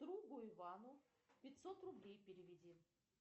другу ивану пятьсот рублей переведи